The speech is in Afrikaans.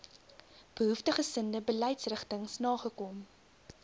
behoeftiggesinde beleidsrigtings nagekom